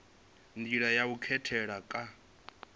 nḓila ya u katela kha